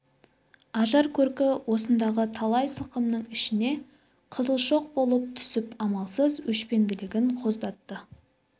ажар-көркі осындағы талай сылқымның ішіне қызыл шоқ болып түсіп амалсыз өшпенділігін қоздатты